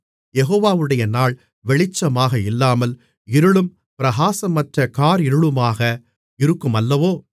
யெகோவாவுடைய நாள் வெளிச்சமாக இல்லாமல் இருளும் பிரகாசமற்ற காரிருளுமாக இருக்குமல்லவோ